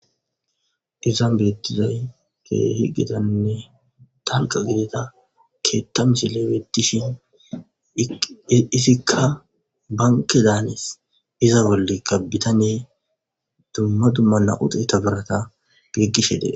Izan beettizay kehi getanne tanqa gidita keetta misille bettishin disikka banke daanes iza bollekka bitaney dumma dummanna uxe tabarata giggishe dees